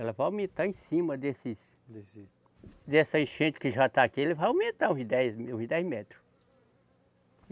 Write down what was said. Ela vai aumentar em cima desses, desses. Dessa enchente que já está aqui, ele vai aumentar uns dez me, uns dez metros.